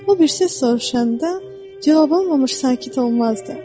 O birisi soruşanda cavab almamış sakit olmazdı.